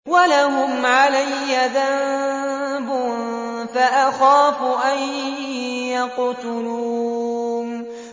وَلَهُمْ عَلَيَّ ذَنبٌ فَأَخَافُ أَن يَقْتُلُونِ